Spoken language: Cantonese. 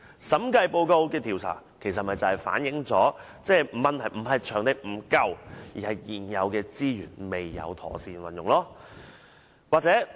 審計報告的調查，正正反映出問題並非場地不足，而是現有資源未有妥善運用。